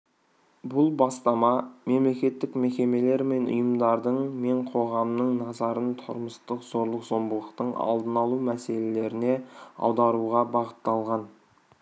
бұл бастама мемлекеттік мекемелер мен ұйымдардың мен қоғамның назарын тұрмыстық зорлық-зомбылықтың алдын алу мәселелеріне аударуға бағытталған